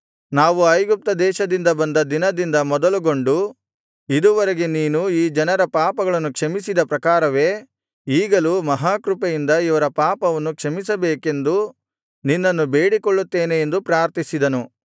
ನಾವು ಐಗುಪ್ತ ದೇಶದಿಂದ ಬಂದ ದಿನದಿಂದ ಮೊದಲುಗೊಂಡು ಇದುವರೆಗೆ ನೀನು ಈ ಜನರ ಪಾಪಗಳನ್ನು ಕ್ಷಮಿಸಿದ ಪ್ರಕಾರವೇ ಈಗಲೂ ಮಹಾಕೃಪೆಯಿಂದ ಇವರ ಪಾಪವನ್ನು ಕ್ಷಮಿಸಬೇಕೆಂದು ನಿನ್ನನ್ನು ಬೇಡಿಕೊಳ್ಳುತ್ತೇನೆ ಎಂದು ಪ್ರಾರ್ಥಿಸಿದನು